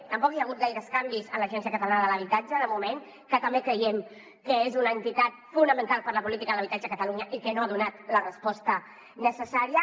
tampoc hi ha hagut gaires canvis a l’agència catalana de l’habitatge de moment que també creiem que és una entitat fonamental per a la política de l’habitatge a catalunya i que no ha donat la resposta necessària